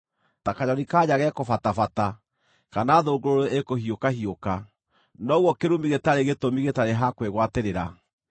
Ta kanyoni-ka-nja gekũbatabata, kana thũngũrũrũ ĩkũhiũka-hiũka, noguo kĩrumi gĩtarĩ gĩtũmi gĩtarĩ ha kwĩgwatĩrĩra.